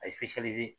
A ye